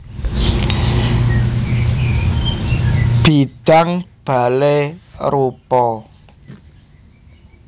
Bidang balai roepa